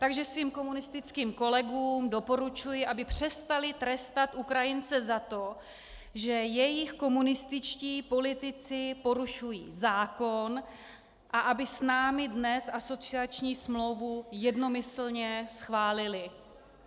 Takže svým komunistickým kolegům doporučuji, aby přestali trestat Ukrajince za to, že jejich komunističtí politici porušují zákon, a aby s námi dnes asociační smlouvu jednomyslně schválili.